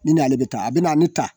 Ni n'ale bɛ taa a bɛna a bɛ ta